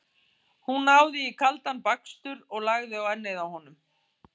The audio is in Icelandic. Hún náði í kaldan bakstur og lagði á ennið á honum.